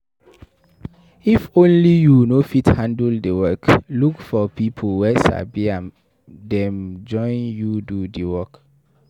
If only you no fit handle di work, look for pipo wey sabi make dem join you do di work